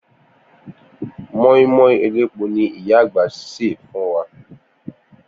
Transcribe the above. Mó̩ínmó̩ín elépo ni ìyá àgbà sè fún wa